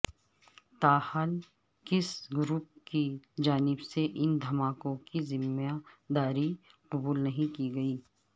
تاحال کسی گروپ کی جانب سے ان دھماکوں کی ذمہ داری قبول نہیں کی گئی